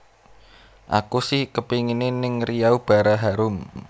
Aku si kepingine ning Riau Bara Harum